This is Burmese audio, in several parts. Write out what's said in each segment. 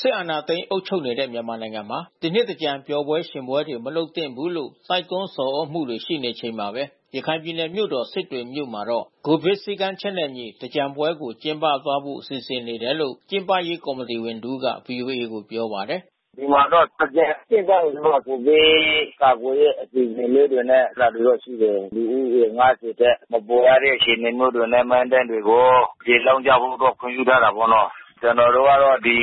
စစ်အာဏာသိမ်းအုပ်ချုပ်နေတဲ့ မြန်မာနိုင်ငံမှာ ဒီနှစ် သင်္ကြန်ပျော်ပွဲ ရွှင်ပွဲတွေ မလုပ်သင့်ဘူးလို့ တိုက်တွန်း ဆော်သြ မှုတွေ ရှိနေချိန်မှာပဲ ရခိုင်ပြည်နယ်မြို့တော ်စစ်တွေမြို့မှာတော့ COVID စည်းကမ်းချက်နဲ့အညီ သင်္ကြန်ပွဲကိုကျင်းပ သွားဖို့ စီစဉ်နေတယ်လို့ ကျင်းပရေး ကော်မီတီဝင်တဦးက ဗွီအိုအေကို ပြောပါတယ်။ “ဒီမှာတော့ သင်္ကြန်ကျင်းပရင်တော့ COVID ကာကွယ်တဲ့အစီစဉ်လေးတွေနဲ့ အဲတာတွေတော့ရှိတယ်။ လူဦးရေ ထက် မပိုရတဲ့အခြေအနေမျိုးတွေနဲ့မဏ္ဍာပ်တွေကို ရေလောင်းကြဖို့တော့ခွင့်ပြုထားတယ်ပေါ့နော်။ ကျွန်တော်တို့က တော့ ဒီ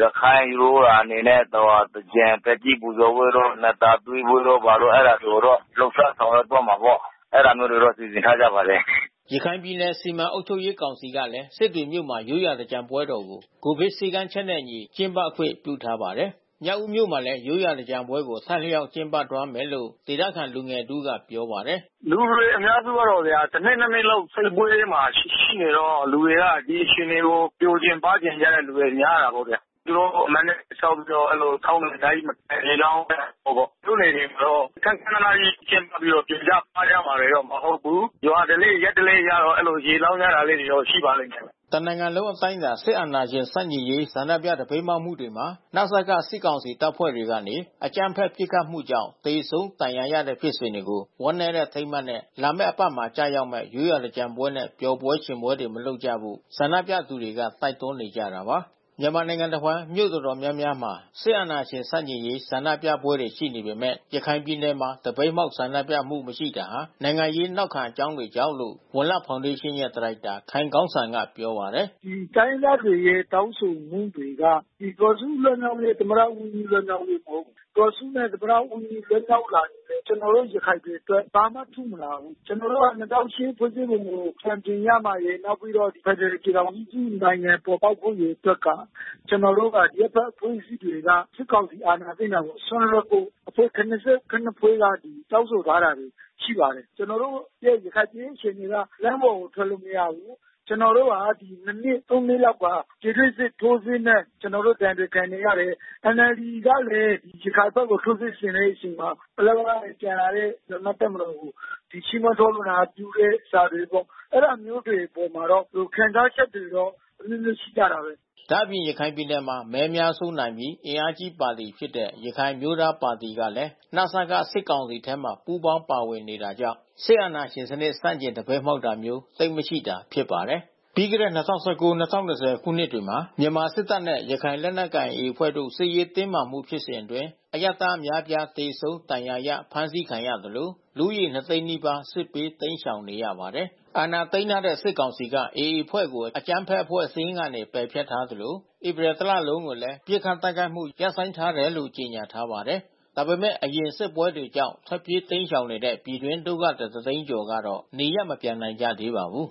ရခိုင်ရိုးရာအနေနဲ့ သင်္ကြန်သက်ကြီးပူဇော်ပွဲတို့ နံ့သာသွေးပွဲတို့ဘာတို့ အဲတာတွေကိုတော့ လှုပ်ရှား ဆောင် ရွက်သွားမှာပေါ့။ အဲတာမျိုးတွေတော့စီစဉ်ထားကြပါတယ်။” ရခိုင်ပြည်နယ်စီမံ အုပ်ချုပ်ရေးကောင်စီကလည်း စစ်တွေမြို့မှာ ရိုးရာသင်္ကြန်ပွဲတော်ကို COVID စည်းကမ်းချက်နဲ့ အညီကျင်းပခွင့်ပြုထားပါတယ်။ မြောက်ဦးမြို့နယ်မှာလဲ ရိုးရာသင်္ကြန်ပွဲကို အထိုက်အလျှောက်ကျင်းပ သွားမယ်လို့ ဒေသခံလူငယ်တဦးက ပြောပါတယ်။ “လူတွေအများစုကတော့ဗျာ တနှစ် ၊ နှစ်နှစ်လောက် စစ်ပွဲမှာရှိနေတော့ လူတွေက ဒီအခြေအနေကို ပျော်ချင်ပါးချင်ကြ တဲ့ သူတွေများတာပေါ့ဗျာ။ သူတို့ကိုမဏ္ဍာပ်လေးဆောက်ပြီးတော့ အဲဒီလိုထုံးစံအတိုင်းရေလောင်းတဲ့ပုံပေါ့။ မြို့နယ် တွေမှာတော့ ခန်းခန်းနားနားကြီး ကျင်းပပြီးတော့ပျော်ကြပါးကြမှာတော့မဟုတ်ဘူး။ ရွာဓလေ့ရပ်ဓလေ့အရတော့ အဲဒီလိုရေလောင်းကြတာလေးတော့ရှိပါလိမ့်မယ်။ တနိင်ငံလုံးအတိုင်းတာ စစ်အာဏာရှင်ဆန့်ကျင်ရေးဆန္ဒပြသပိတ်မှောက်မှုတွေမှာ နစကစစ်ကောင်စီတပ်ဖွဲ့တွေကနေ အကြမ်းဖက်ပစ်ခတ်မှုကြောင့် သေဆုံးဒဏ်ရာရတဲ့ဖြစ်စဉ်တွေကို ဝမ်းနည်းတဲ့အထိန်းအမှတ်နဲ့ လာမယ့်အပတ်မှာ ကျ ရောက်မဲ့ ရိုးရာသင်္ကြန်ပွဲနဲ့ပျော်ပွဲရွှင်ပွဲတွေမလုပ်ကြဖို့ ဆန္ဒပြသူတွေက တိုက်တွန်းနေကြတာပါ။ မြန်မာနိုင်ငံတဝန်း မြို့တော်တော်များများမှာ စစ်အာဏာရှင်ဆန့်ကျင်ရေး ဆန္ဒပြပွဲတွေရှိနေပေမဲ့ ရခိုင်ပြည်နယ်မှာ သပိတ်မှောက်ဆန္ဒပြမှု မရှိတာဟာ နိုင်ငံရေးနောက်ခံအကြောင်းတွေကြောင့်လို့ ဝံလတ်ဖောင်ဒေးရှင်းရဲ့ ဒါရိုက်တာ ခိုင်ကောင်းစံကပြောပါတယ်။ “တိုင်းရင်းသားတွေရဲ့တောင်းဆိုချက်တွေက ဒေါ်စုလွတ်မြောက်ရေး သမ္မတဦးဝင်းမြင့်လွတ်မြောက်ရေးမဟုတ်ဘူး။ ဒေါ်စုနဲ့ သမ္မတဦးဝင်းမြင့်လွတ်မြောက်လာရင်လဲ ကျွန်တော်တို့ရခိုင်တွေအတွက် ဘာမှထူးမလာဘူး။ ကျွန်တော်တို့ က ဖွဲ့စည်းပုံကိုပြန်ပြင်ရမှာတွေ နောက်ပြီးတော့ ဖက်ဒရယ်ပြည်ထောင်စုနိုင်ငံပေါ်ပေါက်ဖို့ကို အတွက်က ကျွန် တော်တို့အရပ်ဖက်အဖွဲ့အစည်းတွေက စစ်ကောင်စီအာဏာသိမ်းတာကို စွန့်လွှတ်ဖို့ အဖွဲ့ ဖွဲ့က တောင်းဆို ထားတာတွေရှိပါတယ်။ ကျွန်တော်တို့ရဲ့ရခိုင်ပြည်ရေးအခြေအနေက လမ်းပေါ်ထွက်လို့မရဘူး။ ကျွန်တော်တို့ဟာ နှစ် နှစ်လောက်က ပြည်တွင်းစစ်ထိုးစစ်နဲ့ ကျွန်တော်တို့ဒဏ်တွေခံနေရတယ်။ NLDကလဲ ရခိုင်ဘက်ကို ထိုးစစ် ဆင်တဲ့အချိန်မှာ ပလက်၀ ကပြန်လာတဲ့မြန်မာ့တပ်မတော်ကို ချီးမွမ်းထောပဏာပြုတဲ့စာတွေပေါ့။ အဲတာမျိုးတွေအပေါ် မှာတော့ ဒီလိုခံစားချက်တွေတော့အမျိုးမျိုးရှိကြတာဘဲ။” ဒါ့အပြင် ရခိုင်ပြည်နယ်မှာ မဲအများဆုံးနိုင်ပြီး အင်အားကြီးပါတီဖြစ်တဲ့ ရခိုင်အမျိုးသားပါတီကလဲ နစကစစ်ကောင်စီ ထဲမှာ ပူးပေါင်းပါဝင်နေတာကြောင့် စစ်အာဏာရှင် စနစ်ဆန့်ကျင် သပိတ်မှောက်တာမျိုး သိပ်မရှိတာဖြစ်ပါတယ်။ ပြီးခဲ့တဲ့၂၀၁၉- ၂၀၂၀ခုနှစ်တွေမှာ မြန်မာစစ်တပ်နဲ့ ရခိုင်လက်နက်ကိုင် AA အဖွဲ့တို့ စစ်ရေးတင်းမာမှုဖြစ်စဉ်အတွင်း အရပ်သားအများပြားသေဆုံးဒဏ်ရာရအဖမ်းဆီးခံရသလို လူဦးရေ နှစ်သိန်းနီးပါး စစ်ဘေးတိမ်းရှောင်နေရပါတယ်။ အာဏာသိမ်းထားတဲ့ စစ်ကောင်စီက AA အဖွဲ့ကို အကြမ်းဖက်အဖွဲ့စာရင်းကနေ ပယ်ဖျက်ထားသလို ဧပြီတလလုံးကို လည်း ပစ်ခတ်တိုက်ခိုက်မှု ရပ်ဆိုင်းထားတယ်လို့ ကြေညာထားပါတယ်။ ဒါပေမဲ့ အရင်စစ်ပွဲတွေကြောင့် ထွက်ပြေး တိမ်းရှောင်နေတဲ့ ပြည်တွင်းဒုက္ခသည် ၁ သိန်းကျော်ကတော့ နေရပ် မပြန်နိုင်ကြသေးပါဘူး။